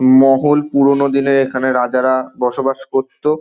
মহল পুরোনো দিনে এখানে রাজারা বসবাস করতো।